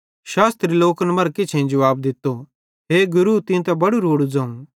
शास्त्री लोकन मरां किछेईं जुवाब दित्तो हे गुरू तीं त बड़ू रोड़ू ज़ोवं